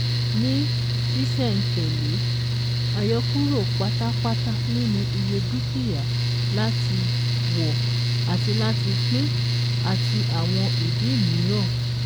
Ní sísẹ̀-n-tẹ̀lè, àyọkúrò pátápátá nínú iye dúkìá láti wọ̀ àti láti pín àti àwọn ìdí míràn